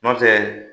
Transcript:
Nɔntɛ